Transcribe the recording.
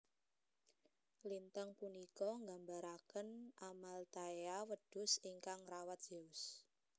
Lintang punika nggambaraken Amalthaea wedhus ingkang ngrawat Zeus